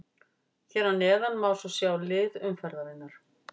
Hér neðar má svo sjá lið umferðarinnar.